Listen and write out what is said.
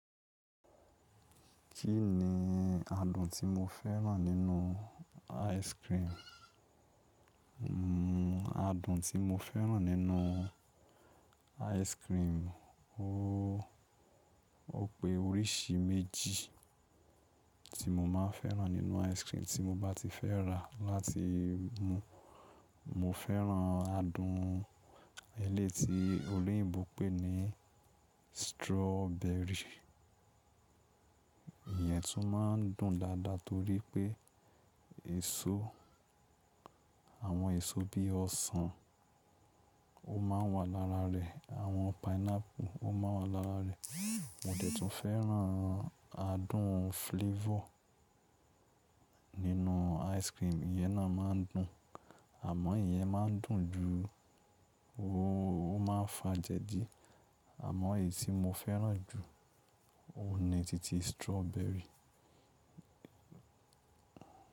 Kí ni adùn tí mo fẹ́ràn nínú ice cream? Adùn tí mo fẹ́ rà nínú ice cream. O pé oríṣi méjì tí mo máa fẹ́ràn nínú ice cream tí mo bá ti fẹ́ rà láti mu. Mo fẹ́ràn adùn eléyìí tí olóyìnbó pé ní strawberry. Ìyẹn tún máa ń dùn dáadáa torí pé èso, àwọn èso bí ọsàn ó máa ń wà lára rẹ àwọn pineapple ó máa wà lára rẹ. Mo dẹ̀ tún fẹ́ràn adùn flavor nínú ice cream, ìyẹ́n náà máa ń dùn àmọ́ ìyẹn máa ń dùn jù ó máa ń fa jẹdi. Àmọ́ èyí tí mo fẹ́ràn jù óun ni titi strawberry.